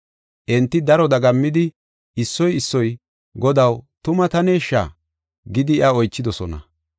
Enti daro dagammidi, issoy issoy, “Godaw, tuma taneshsha?” gidi iya oychidosona.